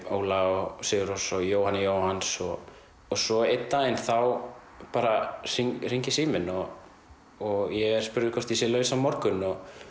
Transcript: Óla og sigur Rós og Jóhanni Jóhanns og svo einn daginn þá bara hringi síminn og og ég er spurður hvort ég sé laus á morgun